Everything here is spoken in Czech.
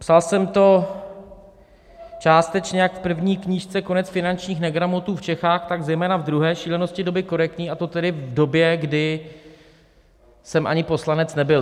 Psal jsem to částečně jak v první knížce Konec finančních negramotů v Čechách, tak zejména v druhé, Šílenosti doby korektní, a to tedy v době, kdy jsem ani poslanec nebyl.